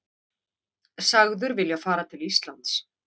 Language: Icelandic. Sagður vilja fara til Íslands